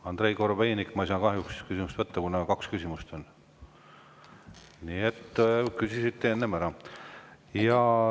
Andrei Korobeinik, ma ei saa kahjuks teie küsimust võtta, kuna on kaks küsimust ja te küsisite need enne ära.